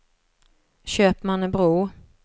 Köpmannebro